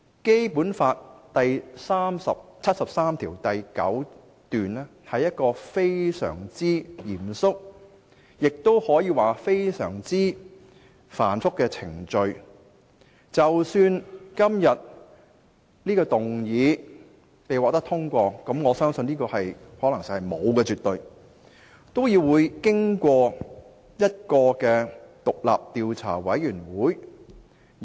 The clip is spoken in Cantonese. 《基本法》第七十三條第九項訂明非常嚴謹及繁複的程序，即使本議案獲得通過——但我相信可能性是絕無僅有——也須委托獨立調查委員會調查。